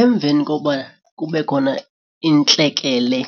Emveni kokuba kube khona intlekele